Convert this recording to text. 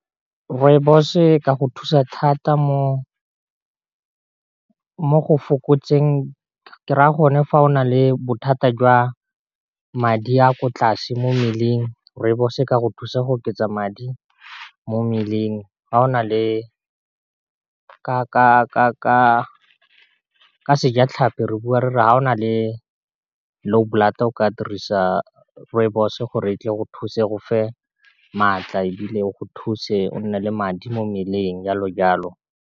Rooibos-o e ka go thusa thata mo go fokotseng ke re ya gonne fa o na le bothata jwa madi a ko tlase mo mmeleng rooibos-o e ka go thusa go oketsa madi mo mmeleng, ga o na le ka sejatlhapi re bua re re ga o na le low blood o ka dirisa rooibos-o gore e tle go thuse e go fe maatla e bile o go thuse o nne le matla mo mmeleng jalojalo.